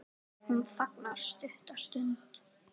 Hún þagnar stutta stund.